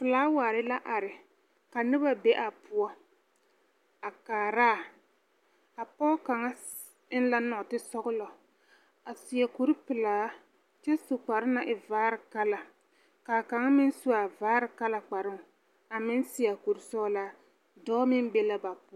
Filaaware la are, ka noba be a poͻ a kaaraa. A pͻge kaŋa sii eŋ la nͻͻtesͻgelͻ, a seԑ kuri pelaa kyԑ su kparoo na naŋ e vaare kala ka a kaŋ meŋ su a vaare kala kparoo a meŋ seԑ a kuri sͻgelaa, dͻͻ meŋ be la ba poͻ.